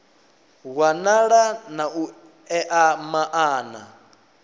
wanala na u ea maana